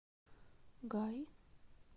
гай